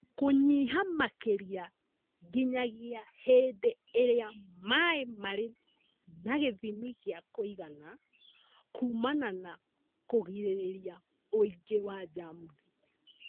Kũnyiha makĩria nginyagia hĩndĩ ĩrĩa maĩ marĩ na gĩthimi gĩa kũigana kuumana na kũgĩrĩria wũingĩ wa njamuthi